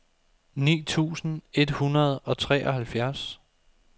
ni tusind et hundrede og treoghalvfjerds